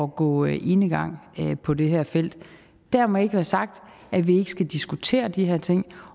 gå enegang på det her felt dermed ikke være sagt at vi ikke skal diskutere de her ting